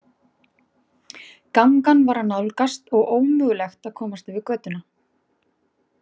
Gangan var að nálgast og ómögulegt að komast yfir götuna.